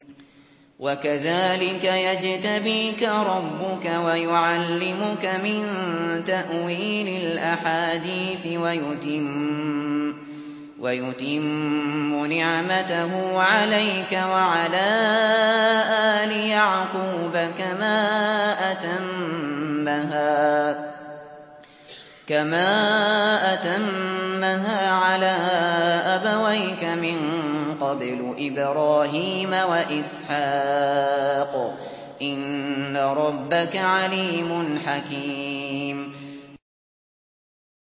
وَكَذَٰلِكَ يَجْتَبِيكَ رَبُّكَ وَيُعَلِّمُكَ مِن تَأْوِيلِ الْأَحَادِيثِ وَيُتِمُّ نِعْمَتَهُ عَلَيْكَ وَعَلَىٰ آلِ يَعْقُوبَ كَمَا أَتَمَّهَا عَلَىٰ أَبَوَيْكَ مِن قَبْلُ إِبْرَاهِيمَ وَإِسْحَاقَ ۚ إِنَّ رَبَّكَ عَلِيمٌ حَكِيمٌ